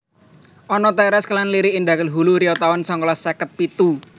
Anna Tairas kelairan Lirik Indragiri Hulu Riau taun songolas seket pitu